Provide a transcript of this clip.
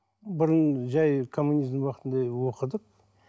бұрын жай коммунизм уақытында оқыдық